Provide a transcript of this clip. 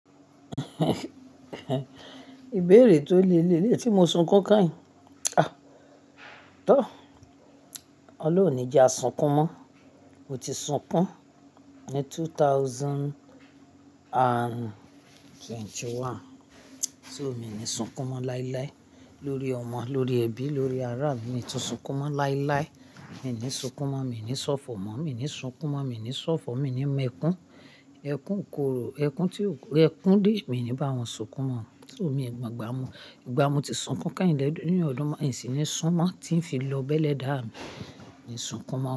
Ìbéèrè tó le léè léyi tí mo sunkún kányìn. Ah! Tọ́, ọlọ́run ní jẹ́ a sunkún mọ́. Mo ti sunkún ní two thousand and twenty one. So, mi ní sunkún mọ́ láíláí lórí ọmọ, lórí ẹbí, lórí ará mi. Mi tun sunkún mọ́ láíláí. Mi i ní sunkún mọ́, mi i ní ṣọ̀fọ̀ mọ́, mi i ní sunkún mọ́, mi i ní ṣọ̀fọ̀, mi i ní mọ ẹkún. Ẹkún ikòrò, ẹkún tí o ẹkún dè, mi ní báwọn sunkún mọ́. So mi i gbàgbà mọ́. Ìgbà mo ti sunkún kányìn lẹ́yìn ọdún, n sì ní sun mọ́ tí ń fi lọ bẹ́lẹ̀ dáà mi, mi i sunkún mọ́